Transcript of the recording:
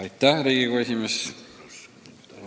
Austatud Riigikogu esimees!